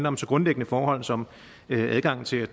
om så grundlæggende forhold som adgangen til at